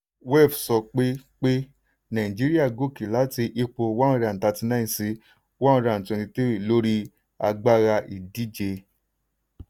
wef sọ pé pé nàìjíríà gòkè láti ipò one hundred and thrirty nine sí one hundred and twenty three lórí agbára ìdíje.